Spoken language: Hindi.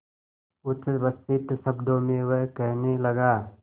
उच्छ्वसित शब्दों में वह कहने लगा